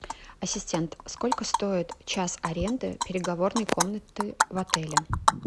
ассистент сколько стоит час аренды переговорной комнаты в отеле